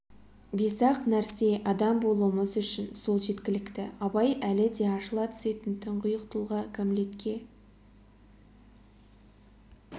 бес-ақ нәрсе адам болуымыз үшін сол жеткілікті абай әлі де ашыла түсетін тұңғиық тұлға гамлетке